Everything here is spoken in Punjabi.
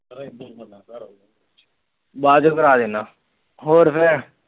ਬਾਅਦ ਚ ਕਰਾ ਦਿੰਦਾ ਹੋਰ ਫਿਰ